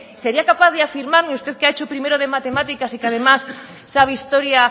sería capaz de afirmarme usted que ha hecho primero de matemáticas y que además sabe historia